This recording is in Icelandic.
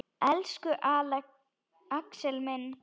Elsku Axel minn.